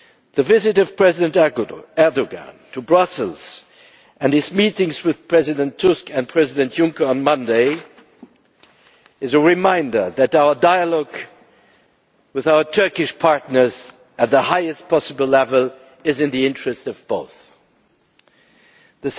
The visit of President Erdoğan to Brussels and his meetings with President Tusk and President Juncker on Monday are a reminder that dialogue with our Turkish partners at the highest possible level is in the interests of both sides.